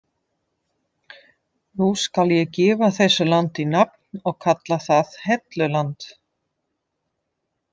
Nú skal ég gefa þessu landi nafn og kalla það Helluland.